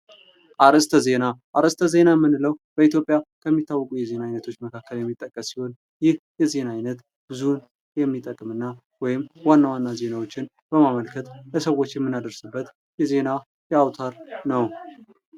አርስተ ዜና ከሚታወቁ የዜና አይነቶች መካከል የሚጠቀስ ሲሆን ይህ የዜና አይነት ብዙ የሚጠቅምና ዋና ዋና ዜናዎችን በማመልከት ለሰዎች የምናደርስበት የዜና አውታር ነው።